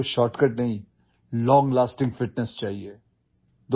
آپ کو shortcut کی ضرورت نہیں ہے، آپ کو دیرپا فٹنس کی ضرورت ہے